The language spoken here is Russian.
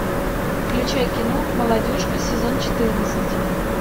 включай кино молодежка сезон четырнадцать